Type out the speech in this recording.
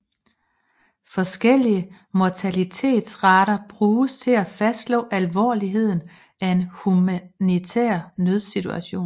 Forskellige mortalitetsrater bruges til at fastslå alvorligheden af en humanitær nødsituation